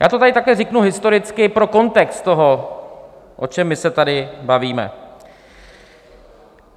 Já to tady takhle řeknu historicky pro kontext toho, o čem my se tady bavíme.